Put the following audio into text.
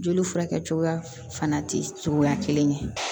Joli furakɛ cogoya fana tɛ cogoya kelen ye